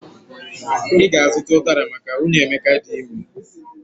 I ga-azuta ụdara maka nwunye Emeka di ime